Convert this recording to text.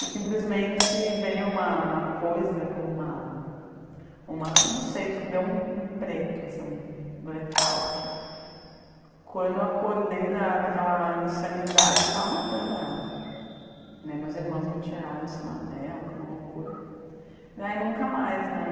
E simplesmente veio uma uma coisa, como uma uma... Não sei, deu um preto assim, um blackout Quando eu acordei daquela daquela insanidade, eu estava matando ela Meus irmãos me tiraram em cima dela, foi uma loucura. Daí nunca mais, né?